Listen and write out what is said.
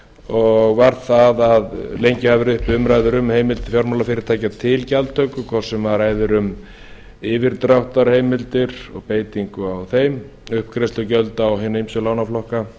og var það að lengi hafa verið uppi umræður um heimild til fjármálafyrirtækja til gjaldtöku hvort sem ræðir um yfirdráttarheimildir og beitingu á þeim uppgreiðslugjöld á hina ýmsu lánaflokka